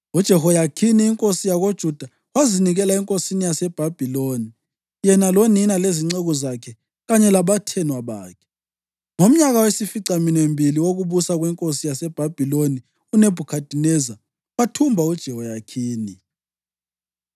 UJehoyakhini inkosi yakoJuda wazinikela enkosini yaseBhabhiloni, yena lonina lezinceku zakhe kanye labathenwa bakhe. Ngomnyaka wesificaminwembili wokubusa kwenkosi yaseBhabhiloni uNebhukhadineza wathumba uJehoyakhini.